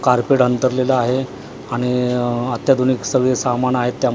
Carpet अंथरलेलं आहे आणि अत्याधुनिक सगळे सामान आहेत त्यामध्ये.